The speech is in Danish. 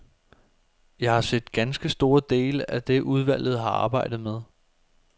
Jeg har set ganske store dele af det, udvalget har arbejdet med.